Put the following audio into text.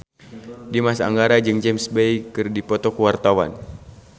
Dimas Anggara jeung James Bay keur dipoto ku wartawan